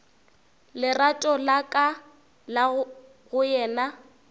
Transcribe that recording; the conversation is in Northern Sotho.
lerato la ka go yena